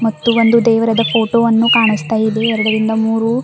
ಮತ್ತು ಒಂದು ದೇವರದ ಫೋಟೋವನ್ನು ಕಾಣುಸ್ತಾ ಇದೆ ಎರಡರಿಂದ ಮೂರು--